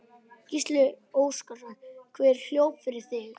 Gísli Óskarsson: Hver hljóp fyrir þig?